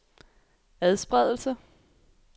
adspredelse